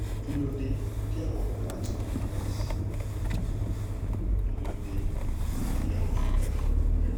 kí ló dé táwọn ọlọ́pàá kì í gun benz kí ló dé tí sójà kì í gun benz